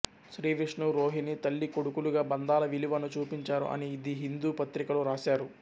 శ్రీ విష్ణు రోహిణి తల్లి కొడుకులుగా బంధాల విలువను చూపించారు అని ది హిందూ పత్రికలో రాశారు